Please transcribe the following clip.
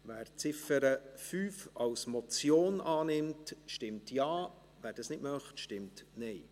Wer die Ziffer 5 als Motion annimmt, stimmt Ja, wer dies nicht möchte, stimmt Nein.